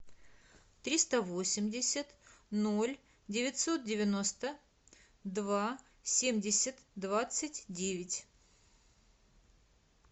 триста восемьдесят ноль девятьсот девяносто два семьдесят двадцать девять